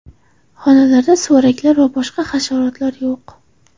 Xonalarda suvaraklar va boshqa hasharotlar yo‘q.